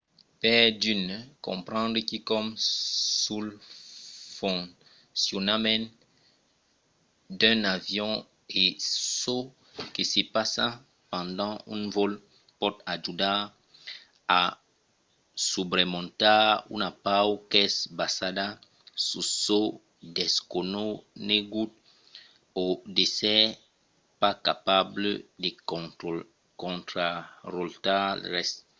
per d'unes comprendre quicòm sul foncionament d'un avion e çò que se passa pendent un vòl pòt ajudar a subremontar una paur qu’es basada sus çò desconegut o d’èsser pas capable de contrarotlar res